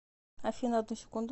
афина одну секунду